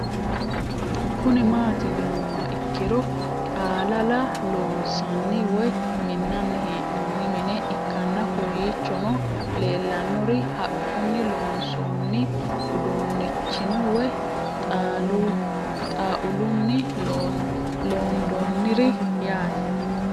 Kuni mati yinumoha ikiro xaalala loonsani woyi minani henoni mine ikanna kowichono leelanori haqquni loonsoni udunichino woyi xauluni londoniri yaate